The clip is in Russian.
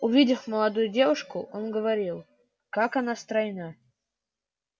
увидев молодую девушку он говорил как она стройна